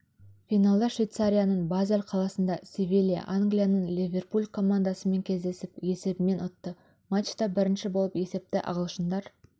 финалда швейцарияның базель қаласында севилья англияның ливерпуль командасымен кездесіп сесебімен ұтты матчта бірінші болып есепті ағылшындар